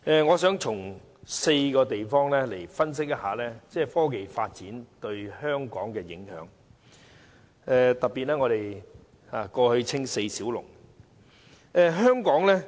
我想從4方面分析科技發展對香港的影響，特別是香港過去被稱為四小龍之一。